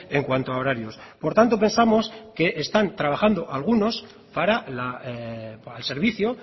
en cuanto horarios por tanto pensamos que están trabajando algunos para el servicio